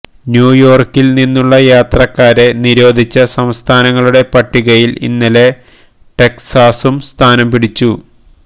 ന്യൂയോർക്കിൽ നിന്നുള്ള യാത്രക്കാരെ നിരോധിച്ച സംസ്ഥാനങ്ങളുടെ പട്ടികയിൽ ഇന്നലെ ടെക്സാസും സ്ഥാനം പിടിച്ചു